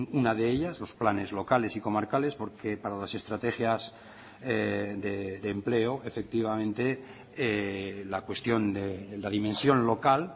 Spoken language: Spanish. una de ellas los planes locales y comarcales porque para las estrategias de empleo efectivamente la cuestión de la dimensión local